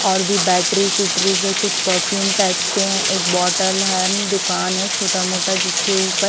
और भी बैटरी सूट्री से कुछ परफ्यूम टाइप्स के हैं एक बोतल है दुकान है छोटा-मोटा जिसके ऊपर--